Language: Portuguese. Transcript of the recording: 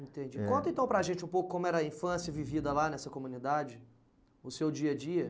Entendi. É. Conta então para a gente um pouco como era a infância vivida lá nessa comunidade, o seu dia a dia.